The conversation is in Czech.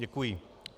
Děkuji.